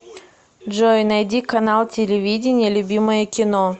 джой найди канал телевидения любимое кино